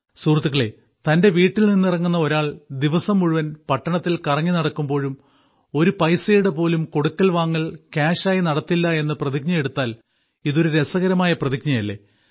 സുഹൃത്തുക്കളേ തന്റെ വീട്ടിൽ നിന്നിറങ്ങുന്ന ഒരാൾ ദിവസം മുഴുവൻ പട്ടണത്തിൽ കറങ്ങി നടക്കുമ്പോഴും ഒരു പൈസയുടെ പോലും കൊടുക്കൽ വാങ്ങൽ കാഷ് ആയി നടത്തില്ല എന്ന് പ്രതിജ്ഞയെടുത്താൽ ഇതൊരു രസകരമായ പ്രതിജ്ഞയല്ലേ